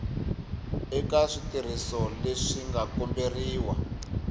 eka switirhiso leswi nga komberiwa